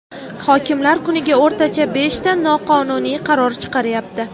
Hokimlar kuniga o‘rtacha beshta noqonuniy qaror chiqaryapti.